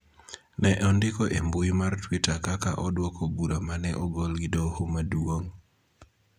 ne ondiko e mbui mar Twitter kaka odwoko bura ma ne ogol gi Doho Maduong�.